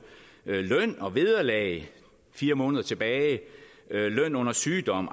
løn og vederlag fire måneder tilbage løn under sygdom